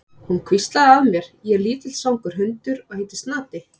Hún hvíslaði að mér: Ég er lítill svangur hundur og heiti Snati.